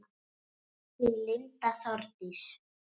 Þín Linda Þórdís.